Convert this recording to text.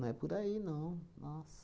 Não é por aí, não. Nossa.